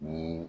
Ni